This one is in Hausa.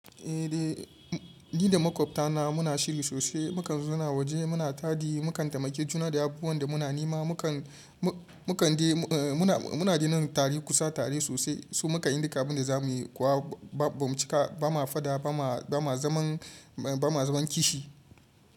Eh, ni da makwabta na muna shiri sosai, mu kan suna waje, muna taɗi, mu kan taimake juna da abubuwan da muna nema, mu na daina kusa tare sosai. Su muka yin duka abun da za muyi kuwa ba mu cika, ba ma faɗa, ba ma zaman kishi.